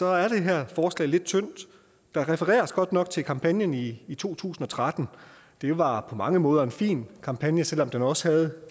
er det her forslag lidt tyndt der refereres godt nok til kampagnen i i to tusind og tretten det var på mange måder en fin kampagne selv om den også havde